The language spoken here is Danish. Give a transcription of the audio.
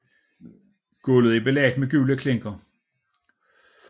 Gulvet er belagt med gule klinker